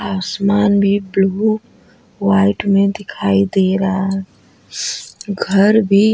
आसमान भी blue white में दिखाई दे रहा है घर भी --